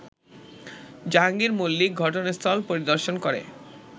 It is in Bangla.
জাহাঙ্গীর মল্লিক ঘটনাস্থল পরিদর্শন করে